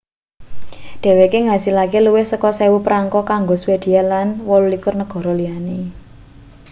dheweke ngasilake luwih saka 1.000 perangko kanggo swedia lan 28 negara liyane